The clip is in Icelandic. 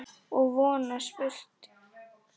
Og von að spurt sé.